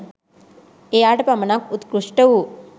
එයාට පමණක් උත්කෘෂ්ට වූ